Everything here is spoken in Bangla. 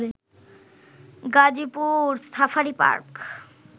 Gazipur safari park